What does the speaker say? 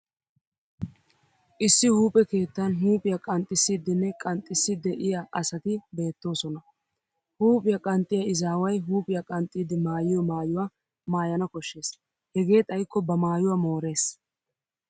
Issi huuphe keettan huuphiya qanxxissiiddinne qanxxiissi de'iya asati beettoosona. Huuphiya qanxxiyaa izaaway huuphiya qanxxidi mayiyo maayuwaa maayana koshshes hegee xayikko ba maayuwaa moores.